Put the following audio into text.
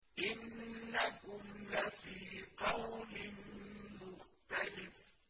إِنَّكُمْ لَفِي قَوْلٍ مُّخْتَلِفٍ